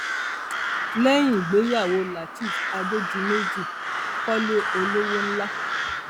lẹyìn ìgbéyàwó lateref adédìmejì kọlé olówó ńlá